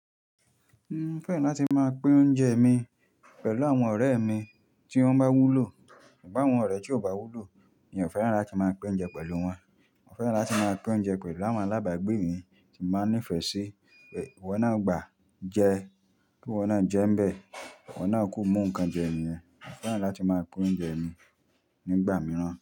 Mo fẹ́ràn láti máa pín oúnjẹ mi pẹ̀lú àwọn ọ̀rẹ́ mi tí wọ́n bá wúlò, ṣùgbọ́n àwọn ọ̀rẹ́ tí ò bá wúlò mi ò fẹ́ràn láti máa pín oúnjẹ pẹ̀lú wọn. Mo fẹ́ràn láti máa pín oúnjẹ pẹ̀lú àwọn alábàágbé mi tí màá ní ìfẹ́ sí. Iwọ́ naa, gbà jẹ, kí iwọ́ náà jẹ́ ń bẹ, wọ́n náà kú imú nǹkan jẹ niyen Mo fẹ́ràn láti máa pín oúnjẹ mi nígbà mìíràn.